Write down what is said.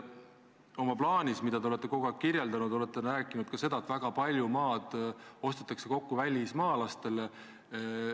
Oma plaanis, mida te olete kogu aeg kirjeldanud, olete rääkinud ka seda, et väga palju maad ostetakse kokku välismaalastele.